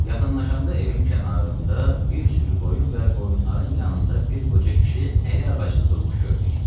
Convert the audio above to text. Yaxınlaşanda evin kənarında bir sürü qoyun və qoyunların yanında bir qoca kişi əli ağaclı durmuş gördük.